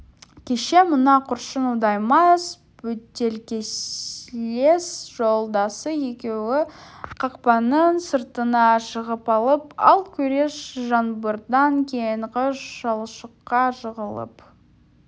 кеше мына көршің удай мас бөтелкелес жолдасы екеуі қақпаның сыртына шығып алып ал күрес жаңбырдан кейінгі шалшыққа жығылып